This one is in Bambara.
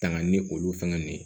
Tanga ni olu fɛngɛ nin ye